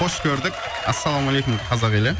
қош көрдік ассалаумағалейкум қазақ елі